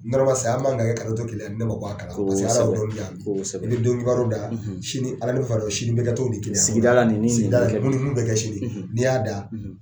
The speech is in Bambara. N sayaya man kan kɛ kaloto kelen n bɛ mako bɔ a sabu don da alami fara sini ni sigida ni sigida minnu bɛ kɛ sini ni y'a da